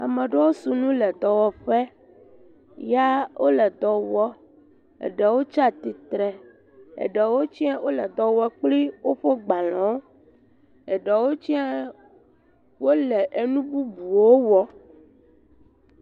Ame ɖeow si nu le dɔwɔƒe, ya wole dɔ wɔ, eɖewo tsatsitre, eɖewo tsɛ wole dɔ wɔ kpli woƒe gbalẽwo, eɖewo tsɛa wole enu bubuwo wɔm.